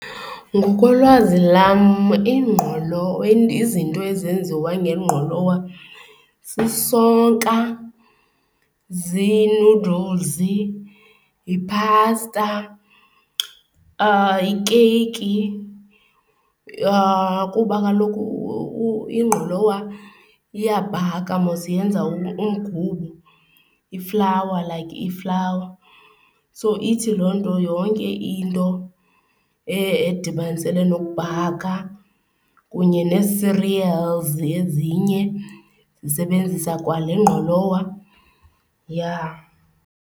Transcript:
Ngokolwazi lam izinto ezenziwa ngengqolowa sisonka, zii-noddles, yiphasta, ikeyiki. kuba kaloku ingqolowa iyabhaka mos yenza umgubo, iflawa like iflawa. So ithi loo nto yonke into edibanisele nokubhaka kunye nee-cereals ezinye zisebenzisa kwale ngqololowa .